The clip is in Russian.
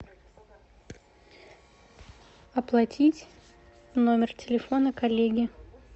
оплатить номер телефона коллеги